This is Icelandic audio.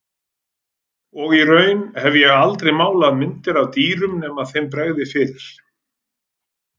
Og í raun hef ég aldrei málað myndir af dýrum nema þeim bregði fyrir.